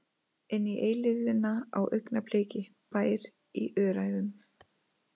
Inn í eilífðina á augnabliki- Bær í Öræfum.